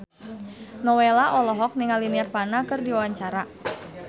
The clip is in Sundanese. Nowela olohok ningali Nirvana keur diwawancara